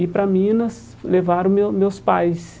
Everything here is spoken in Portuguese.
E para Minas levaram meu meus pais.